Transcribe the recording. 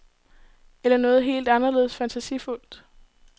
Eller noget helt anderledes fantasifuldt.